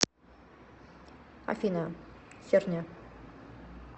афина херня